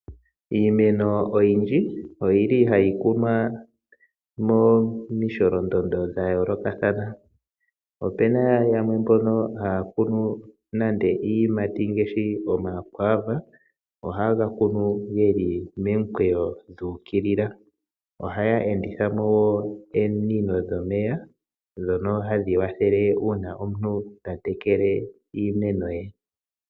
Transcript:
Iimeno oyindji oyili hayi kunwa momisholondondo dha yoolokathana. Opuna yamwe mbono haya kunu nande iiyimati ngaashi omakwaava, ohaye ga kunu geli momikweyo dhu ukilila. Ohaya enditha mo ominino dhomeya, ndhono hadhi wathele uuna omuntu ta tekele iimeno ye.